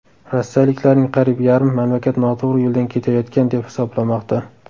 Rossiyaliklarning qariyb yarmi mamlakat noto‘g‘ri yo‘ldan ketayotgan deb hisoblamoqda.